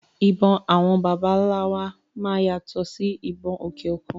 Ìbọn bàbá wa máa yàtọ̀ sí ìbọn òkè òkun.